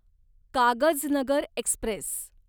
Kagaznagar Express